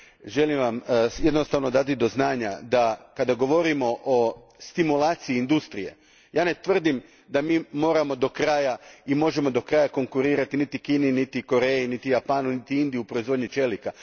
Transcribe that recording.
Želim Vam jednostavno dati do znanja da kada govorimo o stimulaciji industrije, ja ne tvrdim da mi moramo do kraja i možemo do kraja konkurirati niti Kini, niti Koreji, niti Japanu, niti Indiji u proizvodnji čelika.